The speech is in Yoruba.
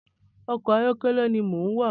Ọkọ ayọkẹlẹ ni mò ń wà